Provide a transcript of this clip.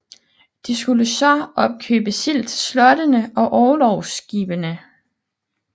De skulle så opkøbe sild til slottene og orlogsskibene